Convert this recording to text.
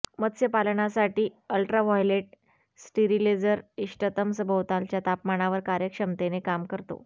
मत्स्यपालनासाठी ultraviolet steriliser इष्टतम सभोवतालच्या तापमानावर कार्यक्षमतेने काम करतो